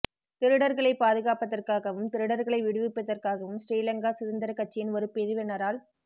திருடர்களை பாதுகாப்பதற்காகவும் திருடர்களை விடுவிப்பதற்காகவும் ஸ்ரீ லங்கா சுதந்திரக் கட்சியின் ஒரு பிரிவினரால்